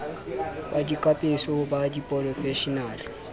ba dikapeso ho ba diporofeshenale